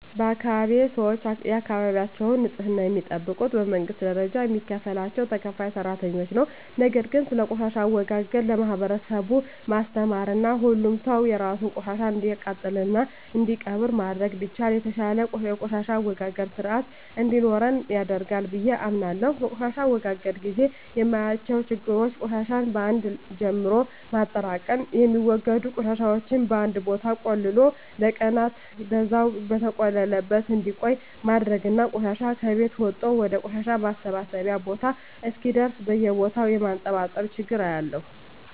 በአካባቢየ ሰወች የአካባቢያቸውን ንጽህና የሚጠብቁት በመንግስት ደረጃ የሚከፈላቸው ተከፋይ ሰራተኞች ነው። ነገር ግን ስለቆሻሻ አወጋገድ ለማህበረሰቡ ማስተማርና ሁሉም ሰው የራሱን ቆሻሻ እንዲያቃጥልና እንዲቀብር ማድረግ ቢቻል የተሻለ የቆሻሻ አወጋገድ ስርአት እንዲኖረን ያደርጋል ብየ አምናለሁ። በቆሻሻ ማስወገድ ግዜ የማያቸው ችግሮች ቆሻሻን በአን ጀምሎ ማጠራቅም፣ የሚወገዱ ቆሻሻወችን በአንድ ቦታ ቆልሎ ለቀናን በዛው በተቆለለበት እንዲቆይ ማድረግና ቆሻሻ ከቤት ወጦ ወደ ቆሻሻ ማሰባሰቢያ ቦታ እስከሚደርስ በየቦታው የማንጠባጠብ ችግር አያለሁ።